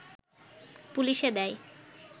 পুলিশে দেয়